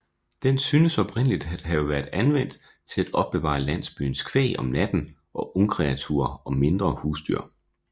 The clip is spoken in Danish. Den synes oprindeligt at have været anvendt til at opbevare landsbyens kvæg om natten og ungkreaturer og mindre husdyr